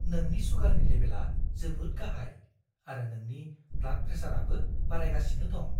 नोंनि सुगारनि लेबेलआ जोबोद गाहाइ, आरो नोंनि ब्लाड प्रेसारआबो बारायगासिनो दं।